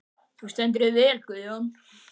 Þú stendur þig vel, Guðjón!